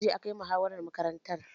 Jiya akayi muhawaran makarantar